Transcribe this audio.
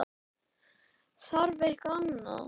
Þarf eitthvað annað?